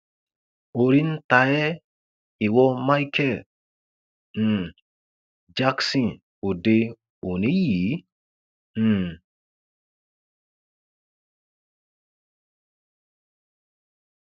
orí ń ta ẹ ìwo michael um jackson òde òní yìí um